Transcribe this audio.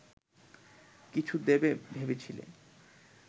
কিছু দেবে ভেবেছিলে